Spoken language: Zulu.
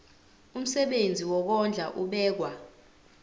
umsebenzi wokondla ubekwa